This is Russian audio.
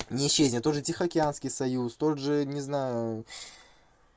не исчезнет тот же тихоокеанский союз тот же не знаю